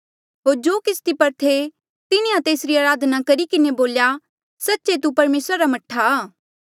होर जो किस्ती पर थे तिन्हें तेस जो अराधना करी किन्हें बोल्या सच्चे तू परमेसरा रा मह्ठा आ